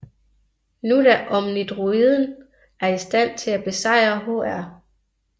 Nu da Omnidroiden er i stand til at besejre Hr